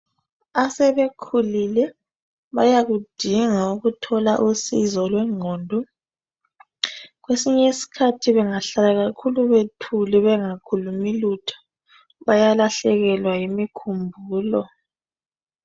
Asebekhulile bayakudinga ukuthola usizo lwengqondo. Kwesinye iskhathi bengahlala kakhulu bethule, bengakhulumi lutho, bayalahlekelwa yimikhumbulo.